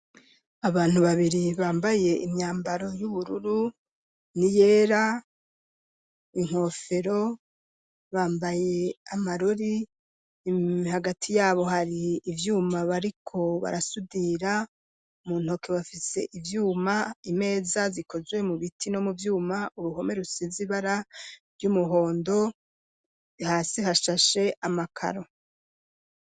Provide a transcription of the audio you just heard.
Abantu babiri bambaye imyambaro y'ubururu ni yera inkofero bambaye amarori hagati yabo hari ivyuma bariko barasudira mu ntoke bafise ibyuma imeza zikozwe mu biti no mu byuma uruhome rusizi bara ry'umuhondo bihasi hashashe amakaro.